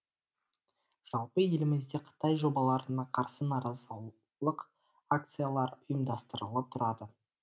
жалпы елімізде қытай жобаларына қарсы наразылық акциялары ұйымдастырылып тұрады